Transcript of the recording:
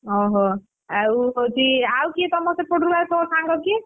ଓହୋ ଆଉ ହଉଛି ଆଉ କିଏ ତମ ସେପଟୁରୁ ତୋ ସାଙ୍ଗ କିଏ?